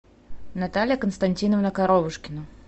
наталья константиновна коровушкина